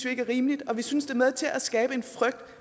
ikke er rimeligt og vi synes det er med til at skabe en frygt